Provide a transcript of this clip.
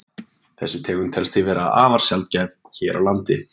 þessi tegund telst því vera afar sjaldgæf hér á landi